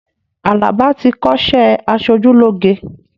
Alaba ti kọ́sẹ́ aṣojúlógé